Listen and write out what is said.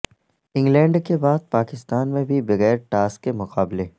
England کے بعد پاکستان میں بھی بغیر ٹاس کے مقابلے